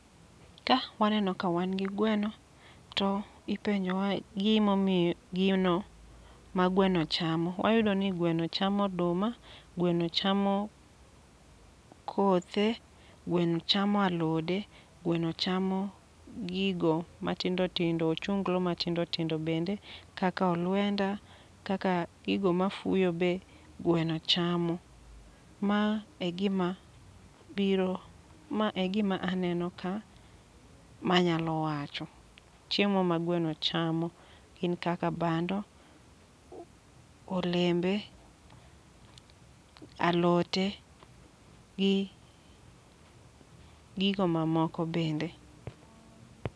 Ka waneno ka wan gi gweno, to ipenjo wa gimo iyo gino ma gweno chamo. Wayudo ni gweno chamo oduma, gweno chamo kothe, gweno chamo alode, gweno chamo gigo matindo tindo. Ochunglo matindo tindo bende, kaka olwenda, kaka gigo mafuyo be gweno chamo. Ma e gima biro, ma e gima aneno ka manyalo wacho. Chiemo ma gweno chamo gin kaka bando, olembe, alote, gi gigo ma moko bende.